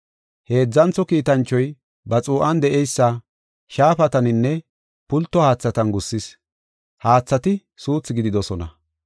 Heedzantho kiitanchoy ba xuu7an de7eysa shaafataninne pulto haathatan gussin, haathati suuthi gididosona.